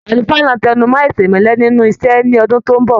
Àlùfáà náà tẹnumọ aisemẹlẹ nínú iṣẹ ní ọdún tó n bọ.